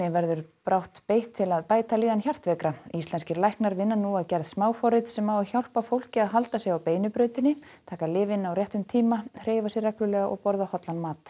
verður brátt beitt til að bæta líðan hjartveikra íslenskir læknar vinna nú að gerð smáforrits sem á að hjálpa fólki til að halda sig á beinu brautinni taka lyfin á réttum tíma hreyfa sig reglulega og borða hollan mat